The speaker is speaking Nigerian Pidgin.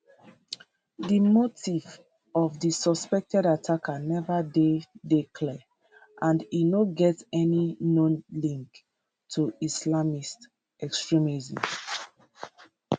di motive of di suspected attacker neva dey dey clear and e no get any known links to islamist extremism